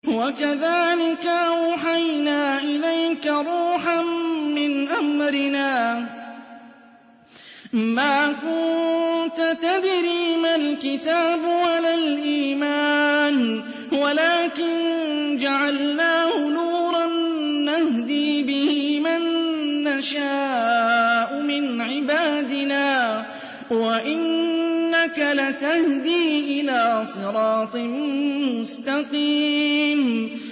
وَكَذَٰلِكَ أَوْحَيْنَا إِلَيْكَ رُوحًا مِّنْ أَمْرِنَا ۚ مَا كُنتَ تَدْرِي مَا الْكِتَابُ وَلَا الْإِيمَانُ وَلَٰكِن جَعَلْنَاهُ نُورًا نَّهْدِي بِهِ مَن نَّشَاءُ مِنْ عِبَادِنَا ۚ وَإِنَّكَ لَتَهْدِي إِلَىٰ صِرَاطٍ مُّسْتَقِيمٍ